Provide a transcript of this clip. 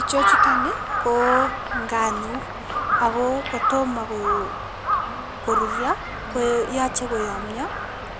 Ichechuton ii ko nganuk ago kotomo ko korurio ko koyoche koyomio